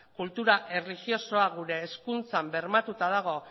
kultura erlijiosoa gure hezkuntzan bermatuta dago